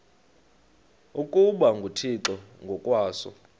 ukuba nguthixo ngokwaso